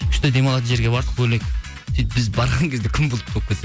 күшті демалатын жерге бардық бөлек сөйтіп біз барған кезде күн бұлт болып кетті